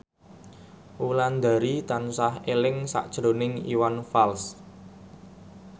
Wulandari tansah eling sakjroning Iwan Fals